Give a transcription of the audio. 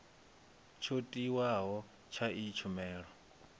tsho tiwaho tsha iyi tshumelo